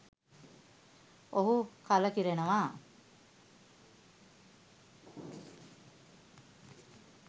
ඔහු කලකිරෙනවා.